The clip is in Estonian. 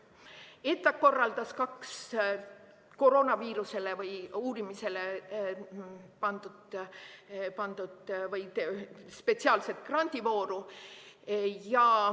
ETAg korraldas kaks koroonaviiruse uurimise spetsiaalset grandivooru.